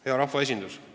Hea rahvaesindus!